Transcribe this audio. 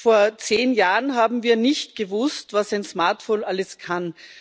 Vor zehn Jahren haben wir nicht gewusst, was ein Smartphone alles kann.